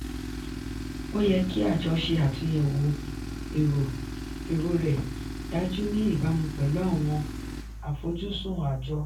ó yẹ kí àjọ ṣe àtúnyẹ̀wò èrò rẹ̀ dájú ní ìbámu pẹ̀lú àwọn àfojúsùn àjọ.